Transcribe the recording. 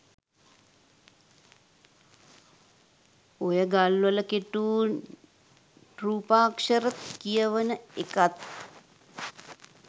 ඔය ගල්වල කෙටූ රූපාක්ෂර කියවන එකත්.